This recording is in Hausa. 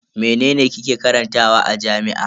Mene kike karantawa a jami'a?